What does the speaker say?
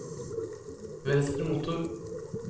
venstre motor